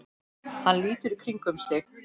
Hann lítur í kringum sig.